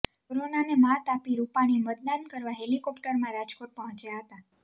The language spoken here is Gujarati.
કોરોનાને મ્હાત આપી રૂપાણી મતદાન કરવા હેલિકોપ્ટરમાં રાજકોટ પહોંચ્યાં હતાં